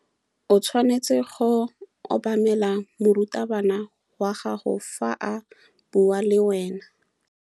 O tshwanetse go obamela morutabana wa gago fa a bua le wena.